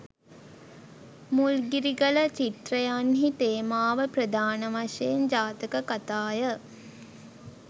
මුල්ගිරිගල චිත්‍රයන්හි තේමාව ප්‍රධාන වශයෙන් ජාතක කතාය.